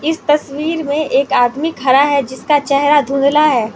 इस तस्वीर में एक आदमी खड़ा है जिसका चेहरा धुंधला हैं।